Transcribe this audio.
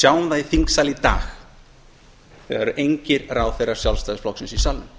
sjáum það í þingsal í þegar þegar engir ráðherrar sjálfstæðisflokks eru í salnum